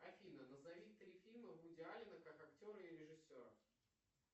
афина назови три фильма вуди алена как актера и режиссера